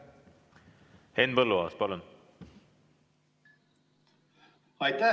Henn Põlluaas, palun!